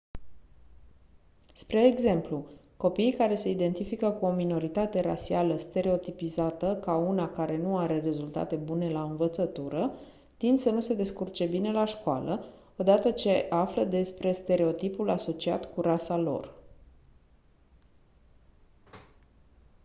spre exemplu copiii care se identifică cu o minoritate rasială stereotipizată ca una care nu are rezultate bune la învățătură tind să nu se descurce bine la școală o dată ce află despre stereotipul asociat cu rasa lor